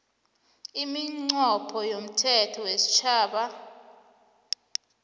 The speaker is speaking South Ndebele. iminqopho yomthetho wesitjhaba